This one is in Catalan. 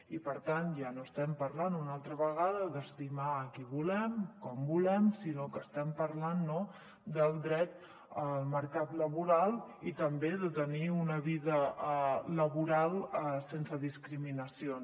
i per tant ja no estem parlant una altra vegada d’estimar qui volem i com volem sinó que estem parlant del dret al mercat laboral i també de tenir una vida laboral sense discriminacions